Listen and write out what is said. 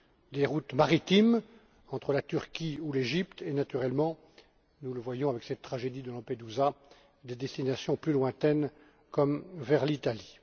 des routes maritimes entre la Turquie ou l'Égypte et, naturellement, nous le voyons avec cette tragédie de Lampedusa, des destinations plus lointaines comme vers l'Italie.